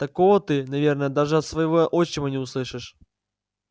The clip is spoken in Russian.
такого ты наверное даже от своего отчима не услышишь